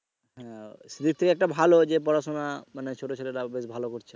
হ্যা সেদিক থেকে একটা ভালো যে পড়াশুনা মানে ছোট ছেলেরাও বেশ ভালো করছে।